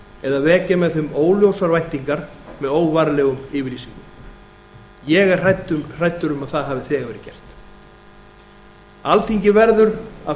eða vekja með þeim óljósar væntingar með óvarlegum yfirlýsingum ég er hræddur um að það hafi þegar verið gert alþingi verður að